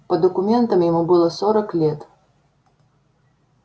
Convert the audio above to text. по документам ему было сорок лет